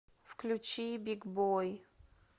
включи биг бой